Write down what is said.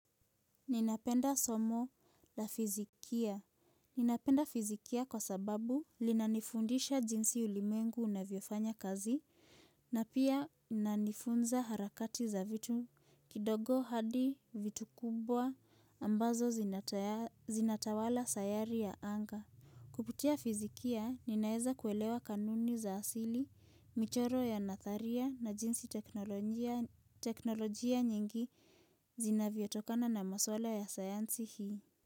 Ninapenda somo la fizikia Ninapenda fizikia kwa sababu linanifundisha jinsi ulimwengu unavyofanya kazi na pia inanifunza harakati za vitu kidogo hadi vitu kubwa ambazo zinatayari, zinatawala sayari ya anga Kupitia fizikia ninaeza kuelewa kanuni za asili, michoro ya nadharia na jinsi teknolojia nyingi Zinavyotokana na maswala ya sayansi hii.